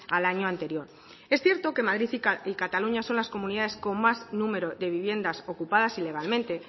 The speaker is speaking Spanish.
al año anterior es cierto que madrid y cataluña son las comunidades con más número de viviendas ocupadas ilegalmente